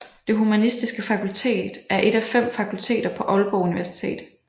Det Humanistiske Fakultet er et af fem fakulteter på Aalborg Universitet